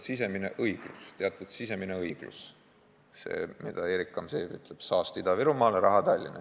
Siin on teatud sisemine õiglus, mille kohta Erik Gamzejev ütleb, et saast Ida-Virumaale, raha Tallinna.